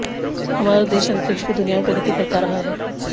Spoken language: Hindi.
हमारा देश अंतरिक्ष की दुनिया में प्रगति करता रहा है